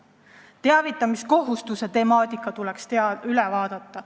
Teavitamiskohustuse temaatika tuleks üle vaadata.